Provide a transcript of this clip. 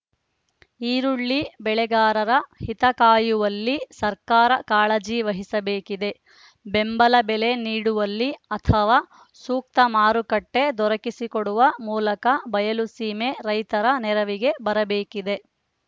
ಈರುಳ್ಳಿ ಬೆಳೆಗಾರರ ಹಿತಕಾಯುವಲ್ಲಿ ಸರ್ಕಾರ ಕಾಳಜಿ ವಹಿಸಬೇಕಿದೆ ಬೆಂಬಲಬೆಲೆ ನೀಡುವಲ್ಲಿ ಅಥವಾ ಸೂಕ್ತ ಮಾರುಕಟ್ಟೆದೊರಕಿಸಿಕೊಡುವ ಮೂಲಕ ಬಯಲುಸೀಮೆ ರೈತರ ನೆರವಿಗೆ ಬರಬೇಕಿದೆ